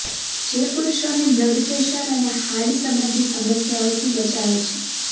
જે પુરૂષોને બ્લડપ્રેશર અને હાર્ટ સંબંધી સમસ્યાઓથી બચાવે છે